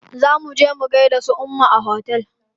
Zo muje mu gaida su umma a otel.